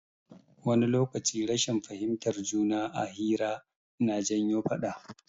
Wani lokaci rashin fahimtar juna a hira na janyo faɗa.